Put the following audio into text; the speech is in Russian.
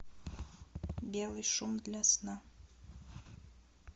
белый шум для сна